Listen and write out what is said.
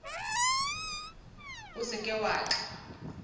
o se ke wa tla